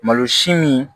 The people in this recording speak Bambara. Malosi min